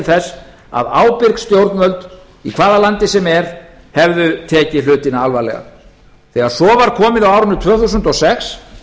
þess að ábyrg stjórnvöld í hvaða landi sem er hefðu tekið hlutina alvarlega þegar svo var komið á árinu tvö þúsund og sex